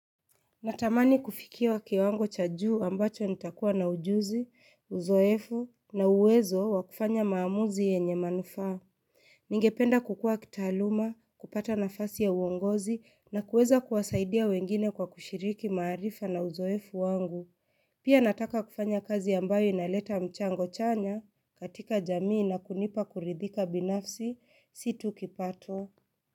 Natamani kufikia kiwango cha juu ambacho nitakuwa na ujuzi, uzoefu na uwezo wa kufanya maamuzi yenye manufaa. Ningependa kukua kitaaluma, kupata nafasi ya uongozi na kuweza kuwasaidia wengine kwa kushiriki maarifa na uzoefu wangu. Pia nataka kufanya kazi ambayo inaleta mchango chanya katika jamii na kunipa kuridhika binafsi si tu kipato.